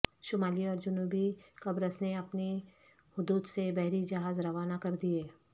شمالی اور جنوبی قبرص نے اپنی حدود سے بحری جہاز روانہ کر دیئے